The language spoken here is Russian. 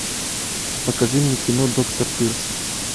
покажи мне кино доктор тырса